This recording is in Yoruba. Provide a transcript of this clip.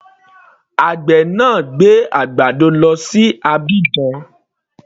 Àgbè náà gbé àgbàdo lọ sí Abidjan.